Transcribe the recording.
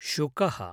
शुकः